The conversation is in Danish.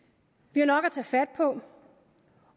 vi har nok at tage fat på